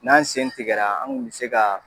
N'an sen tigɛ la an kun be se ka